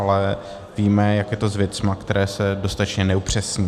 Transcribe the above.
Ale víme, jak je to s věcmi, které se dostatečně neupřesní.